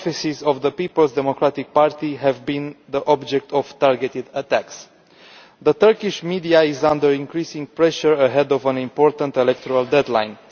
Offices of the Peoples' Democratic Party have been the object of targeted attacks. The Turkish media is under increasing pressure ahead of an important electoral deadline.